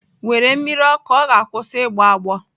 Were mmiri ọkụ ọ ga-akwụsị igboagbo.